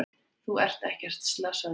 Þú ert ekkert slasaður.